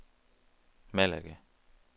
Malaga